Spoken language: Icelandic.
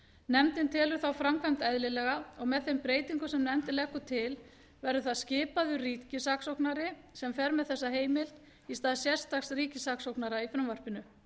nefndin telur þá framkvæmd eðlilega og með þeim breytingum sem nefndin leggur til verður það skipaður ríkissaksóknari sem fer með þessa heimild í stað sérstaks ríkissaksóknara í frumvarpinu